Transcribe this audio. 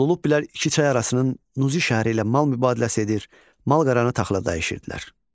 Lullubilər iki çay arasının Nuzi şəhəri ilə mal mübadiləsi edir, malqaranı taxıla dəyişirdilər.